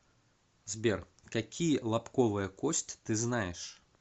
сбер какие лобковая кость ты знаешь